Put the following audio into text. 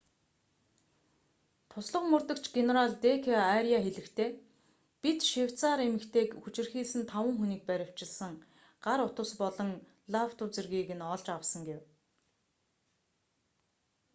туслах мөрдөгч генерал д.к.аряа хэлэхдээ бид швейцарь эмэгтэйг хүчирхийлсэн таван хүнийг баривчлан гар утас болон лаптоп зэргийг нь олж авсан” гэв